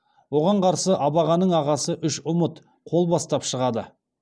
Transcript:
оған қарсы абағаның ағасы үшұмұт қол бастап шығады